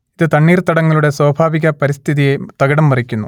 ഇത് തണ്ണീർത്തടങ്ങളുടെ സ്വാഭാവിക പരിസ്ഥിതിയെ തകിടംമറിക്കുന്നു